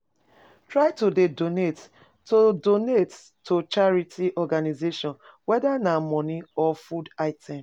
Try de donate to charity organisation whether na money or food items